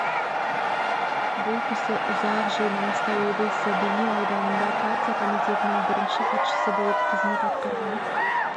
бұл кісі ұзақ жыл маңғыстау облысы бейнеу ауданында партия комитетінің бірініші хатшысы болып қызымет атқраған